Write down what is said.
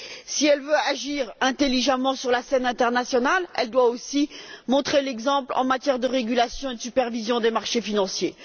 Si elle veut agir intelligemment sur la scène internationale, elle doit aussi montrer l'exemple en matière de régulation et de supervision des marchés financiers.